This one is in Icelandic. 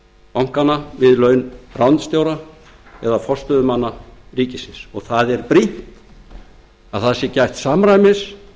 bankanna við laun skjóta eða forstöðumanna ríkisins og það er brýnt að það sé gætt samræmis